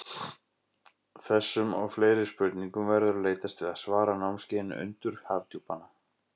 Þessum og fleiri spurningum verður leitast við að svara á námskeiðinu Undur Hafdjúpanna.